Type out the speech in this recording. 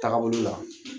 Taga bolo la